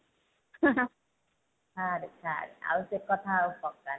ଛାଡେ ଛାଡେ ଆଉ ସେ କଥା ଆଉ ପକାନି